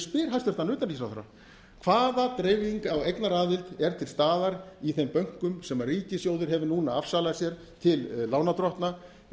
spyr hæstvirts utanríkisráðherra hvaða dreifing á eignaraðild er til staðar í þeim bönkum sem ríkissjóður hefur núna afsalað sér til lánardrottna